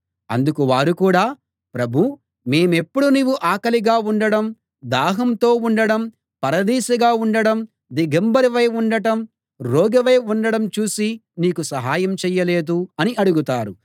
అందుకు వారు కూడా ప్రభూ మేమెప్పుడు నీవు ఆకలిగా ఉండటం దాహంతో ఉండటం పరదేశిగా ఉండటం దిగంబరివై ఉండటం రోగివై ఉండడం చూసి నీకు సహాయం చేయలేదు అని అడుగుతారు